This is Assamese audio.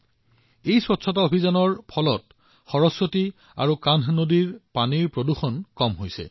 এক পৰিষ্কাৰ পৰিচ্ছন্নতা অভিযানো আৰম্ভ কৰা হৈছে আৰু ইয়াৰ ফলত সৰস্বতী আৰু কানহ নদীত পৰা লেতেৰা পানীও যথেষ্ট হ্ৰাস পাইছে আৰু উন্নতিও হৈছে